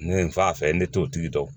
Ne ye n fa fɛ n bɛ t'o tigi dɔn